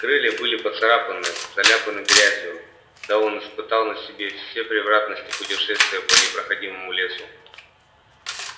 крылья были поцарапаны заляпаны грязью да он испытал на себе все превратности путешествия по непроходимому лесу